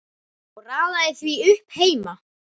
Ég raðaði því upp heima.